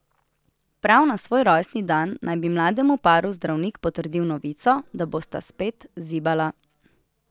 Prav na svoj rojstni dan naj bi mlademu paru zdravnik potrdil novico, da bosta spet zibala.